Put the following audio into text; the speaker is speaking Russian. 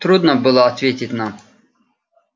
трудно было ответить нам